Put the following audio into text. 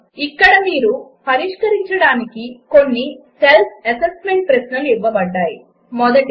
ఇక్కడ మీరు పరిష్కరించడానికి కొన్ని సెల్ఫ్ అసెస్మెంట్ ప్రశ్నలు ఇవ్వబడినవి 1